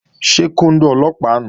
Ṣé kóndó Ọlọ́pàá nùu?